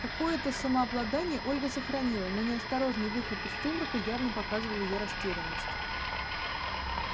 какое-то самообладание ольга сохранила но неосторожный выход из сумрака явно показывал её растерянность